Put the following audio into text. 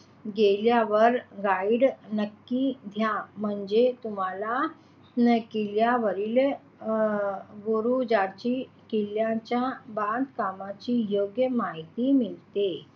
गेल्यावर guide नक्की घ्या म्हणजे तुम्हाला किल्ल्यावरील अं बुरुजांची किल्ल्याच्या बांधकामाची योग्य माहिती मिळते.